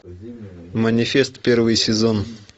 манифест первый сезон